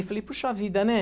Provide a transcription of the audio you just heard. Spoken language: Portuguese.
Eu falei, puxa vida, né?